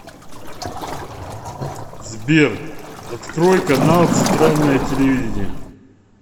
сбер открой канал центральное телевидение